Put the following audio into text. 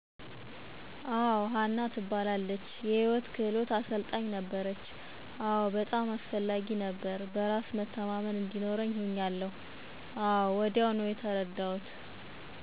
አወ. ሀና ትባላለች የህይወት ክህሉት አሰልጣኝ ነበረች፣ አወ በጣም አስፈላጊ ነበረ። በራስ መተማመን እዲኖርኛ ሁኛለሁ አወ ወዲያው ነው የተርዳሁት።